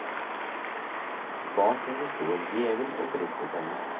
Bak henne stod en djevel og fristet henne.